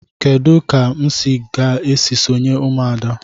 Kedụ ka m ga esị sonye ụmụada?